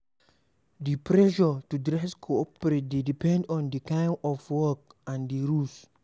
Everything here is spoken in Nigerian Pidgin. Di pressure to dress coperate dey depend on di kind of work and di rules